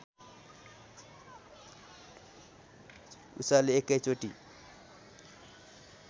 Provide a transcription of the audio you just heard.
उसले एकै चोटी